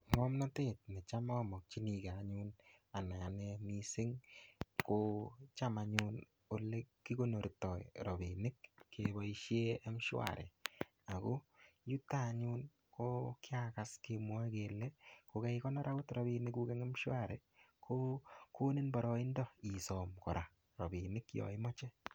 Ngomnotet necham omokyinike anyun anee mising ko cham anyun olekikonorto rabinik keboishen mshwari ak ko yuto anyun ko kiakas kemwoe kelee ko kaikonor rabinikuk en mshwari ko konin boroindo isom kora yoon imoche.